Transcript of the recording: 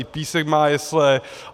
I Písek má jesle.